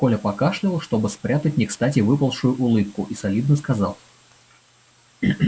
коля покашлял чтобы спрятать некстати выползшую улыбку и солидно сказал